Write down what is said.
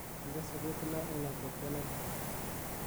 inde soketinon en atebta neloo